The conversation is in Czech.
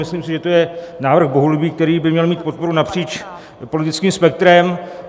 Myslím si, že je to návrh bohulibý, který by měl mít podporu napříč politickým spektrem.